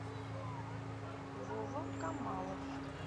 вова камалов